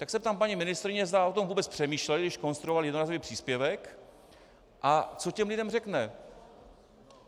Tak se ptám paní ministryně, zda o tom vůbec přemýšleli, když konstruovali jednorázový příspěvek, a co těm lidem řekne.